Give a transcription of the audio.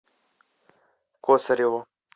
косареву